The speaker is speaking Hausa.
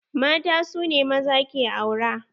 Mata su ne maza ke aura.